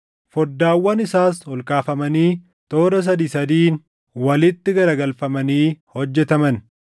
Foddaawwan isaas ol kaafamanii toora sadii sadiin walitti garagalfamanii hojjetaman.